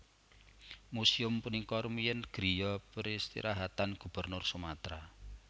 Museum punika rumiyin griya peristirahatan Gubernur Sumatera